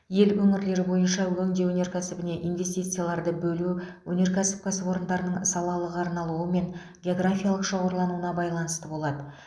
ел өңірлері бойынша өңдеу өнеркәсібіне инвестицияларды бөлу өнеркәсіп кәсіпорындарының салалық арналуы мен географиялық шоғырлануына байланысты болады